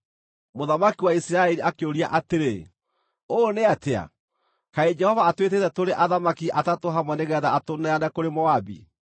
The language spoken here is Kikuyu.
Mũthamaki wa Isiraeli akĩũria atĩrĩ, “Ũũ nĩatĩa! Kaĩ Jehova atwĩtĩte tũrĩ athamaki atatũ hamwe nĩgeetha atũneane kũrĩ Moabi?”